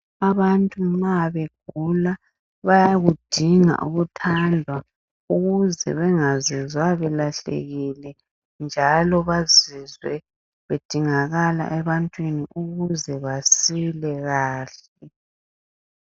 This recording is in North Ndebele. Abantu ma begula .Bayakudinga ukuthandwa ukuze bengazizwa belahlekile .Njalo bazizwe bedingakala ebantwini ukuze basile kahle .